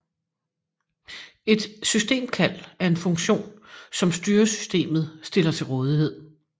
Et systemkald er en funktion som styresystemet stiller til rådighed